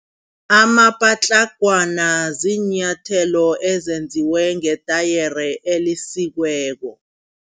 Amapatlagwana ziinyathelo ezenziwe ngetayere elisikweko.